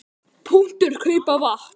. kaupa vatn.